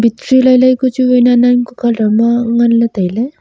mikche lai lai ku chu wai nan nan ku colour ma ngan ley tai ley.